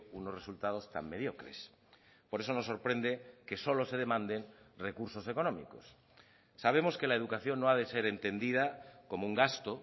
unos resultados tan mediocres por eso nos sorprende que solo se demanden recursos económicos sabemos que la educación no ha de ser entendida como un gasto